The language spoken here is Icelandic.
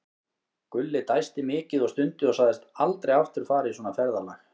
Gulli dæsti mikið og stundi og sagðist aldrei aftur fara í svona ferðalag.